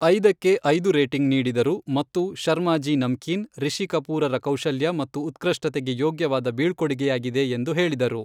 ಐದಕ್ಕೆ ಐದು ರೇಟಿಂಗ್ ನೀಡಿದರು ಮತ್ತು, ಶರ್ಮಾಜೀ ನಮ್ಕೀನ್, ರಿಷಿ ಕಪೂರರ ಕೌಶಲ್ಯ ಮತ್ತು ಉತ್ಕೃಷ್ಟತೆಗೆ ಯೋಗ್ಯವಾದ ಬೀಳ್ಕೊಡುಗೆಯಾಗಿದೆ ಎಂದು ಹೇಳಿದರು.